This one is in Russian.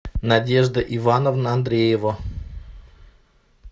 надежда ивановна андреева